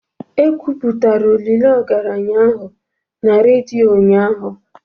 E kwuputara olili ogaranya ahụ na raido ụnyahụ